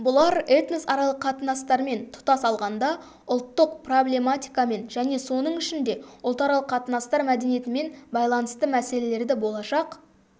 бұлар этносаралық қатынастармен тұтас алғанда ұлттық проблематикамен және соның ішінде ұлтаралық қатынастар мәдениетімен байланысты мәселелерді болашақ